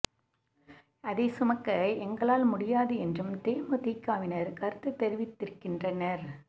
அதை சுமக்க எங்களால் முடியாது என்றும் தேமுதிகவினர் கருத்து தெரிவித்திருக்கின்றனர்